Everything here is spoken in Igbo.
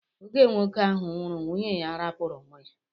Oge nwoke ahụ nwụrụ nwunye ya arapu ụmụ ya.